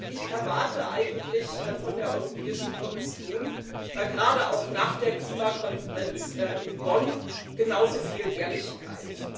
Ich erwarte eigentlich von der Europäischen Kommission gerade auch nach der Klimakonferenz in Bonn genauso viel Ehrlichkeit.